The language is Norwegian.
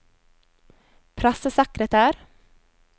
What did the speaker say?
pressesekretær